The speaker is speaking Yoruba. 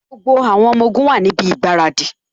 Gbogbo àwọn ọmọ ogun wá níbi ìgbáradì